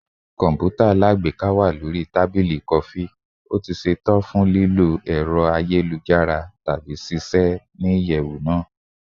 Kọǹpútà alágbèéká wa lori tabili kọfi, ṣetan fun lilọ kiri ayelujara tabi ṣiṣẹ ni iyẹwu naa